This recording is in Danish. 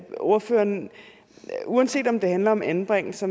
ordføreren uanset om det handler om anbringelse